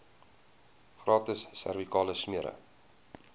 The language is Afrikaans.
gratis servikale smere